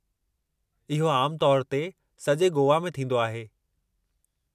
इहो आमु तौर ते सॼे गोवा में थींदो आहे।